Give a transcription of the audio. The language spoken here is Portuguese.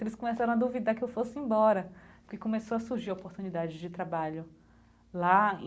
Eles começaram a duvidar que eu fosse embora, porque começou a surgir oportunidade de trabalho lá.